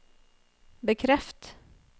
bekreft